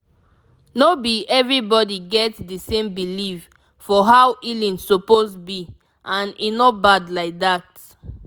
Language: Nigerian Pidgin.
no be everybody get the same belief for how healing suppose be and e no bad like that